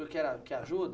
O senhor quer ajuda?